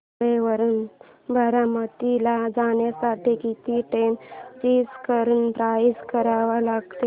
नेरळ वरून बारामती ला जाण्यासाठी किती ट्रेन्स चेंज करून प्रवास करावा लागेल